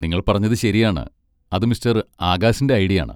നിങ്ങൾ പറഞ്ഞത് ശരിയാണ്, അത് മിസ്റ്റർ ആകാശിന്റെ ഐഡിയാണ്.